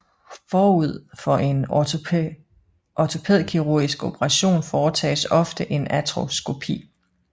Forud for en ortopædkirurgisk operation foretages ofte en artroskopi